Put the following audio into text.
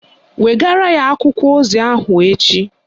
Wegara ya akwụkwọ ozi ahụ echi